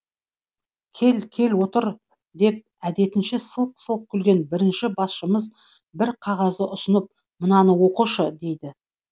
кел кел отыр деп әдетінше сылқ сылқ күлген бірінші басшымыз бір қағазды ұсынып мынаны оқышы дейді